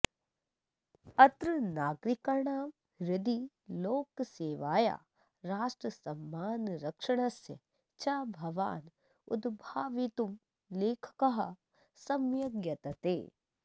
अत्र नागरिकाणां हृदि लोकसेवाया राष्ट्रसम्मानरक्षणस्य च भावानुद्भावयितुं लेखकः सम्यग् यतते